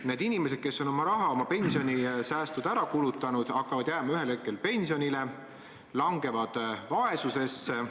Need inimesed, kes on oma raha, oma pensionisäästud ära kulutanud, jäävad ühel hetkel pensionile ja langevad vaesusesse.